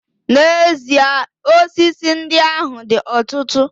N'ezie, osisi ndị ahụ dị ọtụtụ